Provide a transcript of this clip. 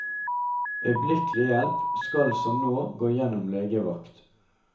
Øyeblikkelig hjelp skal som nå gå gjennom legevakt.